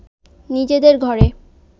নিজেদের ঘরে